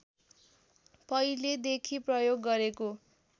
पहिलेदेखि प्रयोग गरेको